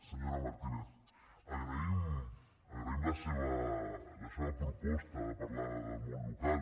senyora martínez agraïm agraïm la seva proposta de parlar del món local